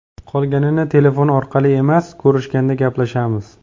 Qolganini telefon orqali emas, ko‘rishganda gaplashamiz.